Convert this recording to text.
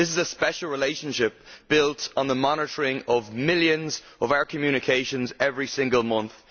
This is a special relationship built on the monitoring of millions of our communications every single month.